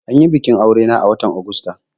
Anyi bikin aure na a watan Augusta